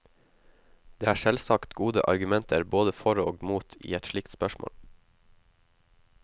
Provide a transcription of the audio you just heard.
Det er selvsagt gode argumenter både for og mot i et slikt spørsmål.